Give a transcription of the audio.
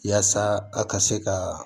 Yaasa a ka se ka